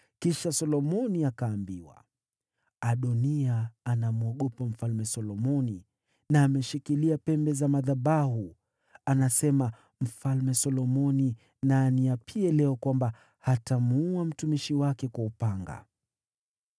Kisha Solomoni akaambiwa, “Adoniya anamwogopa Mfalme Solomoni na ameshikilia pembe za madhabahu. Anasema, ‘Mfalme Solomoni na aniapie leo kwamba hatamuua mtumishi wake kwa upanga.’ ”